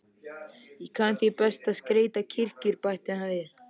Ég kann því best að skreyta kirkjur, bætti hann við.